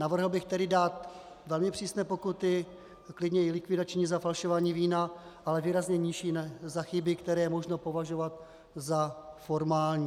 Navrhl bych tedy dát velmi přísné pokuty, klidně i likvidační, za falšování vína, ale výrazně nižší za chyby, které je možno považovat za formální.